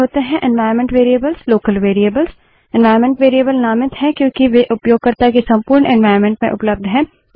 environment variables local variables environment variables नामित हैं क्योंकि वे उपयोगकर्ता के संपूर्ण एन्वाइरन्मेंट में उपलब्ध हैं